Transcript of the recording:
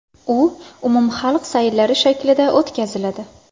U umumxalq sayillari shaklida o‘tkaziladi.